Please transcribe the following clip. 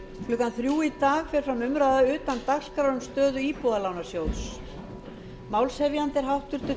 klukkan þrjú í dag fer fram umræða utan dagskrár um stöðu íbúðalánasjóðs málshefjandi er háttvirtur